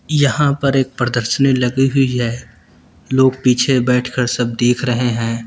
यहां पर एक प्रदर्शनी लगी हुई है लोग पीछे बैठकर सब देख रहे हैं।